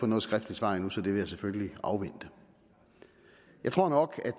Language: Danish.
noget skriftligt svar endnu så det vil jeg selvfølgelig afvente jeg tror nok